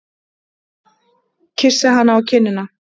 Kyssi hana á kinnina.